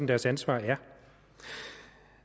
deres ansvar er